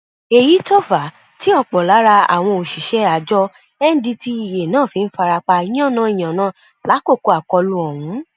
èyí tó fà á tí ọpọ lára àwọn òṣìṣẹ àjọ ndtea náà fi farapa yànnàyànnà lákòókò akólú ọhún